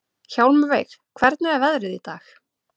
Hjálmveig, hvernig er veðrið í dag?